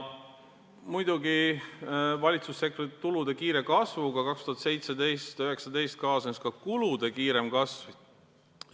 Muidugi kaasnes valitsussektori tulude kiire kasvuga 2017–2019 ka kulude kiirem kasv.